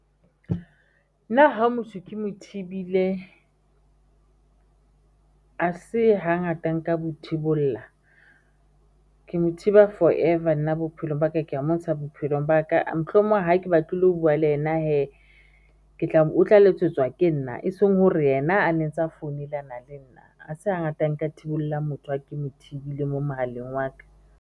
Nna ha motho ke mo thibile Ha se hangata nka ke mo thiba for-ever nna bophelong ba ka ke ya montsha bophelong baka mohlomong hake batle le ho bua le yena ke tla, o tla letsetswa ke nna eseng hore yena a ntse a founelana le nna ha se hangata nka thibollang motho ha ke mothibele mo mohaleng wa ka.